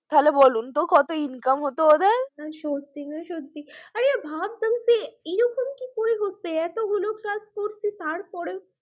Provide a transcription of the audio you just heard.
তাহলে বলুন কত income হচ্ছে ওদের, মানে সত্যি সত্যি ভাবতাম এতগুলো class করছি তাও কি করে